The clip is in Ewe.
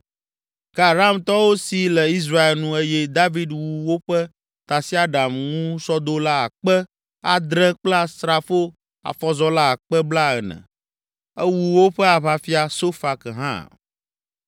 Ke Aramtɔwo si le Israel nu eye David wu woƒe tasiaɖamŋusɔdola akpe (7,000) adre kple asrafo afɔzɔla akpe blaene (40,000). Ewu woƒe aʋafia Sofak hã.